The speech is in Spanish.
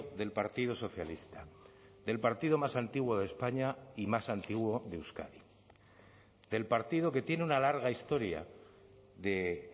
del partido socialista del partido más antiguo de españa y más antiguo de euskadi del partido que tiene una larga historia de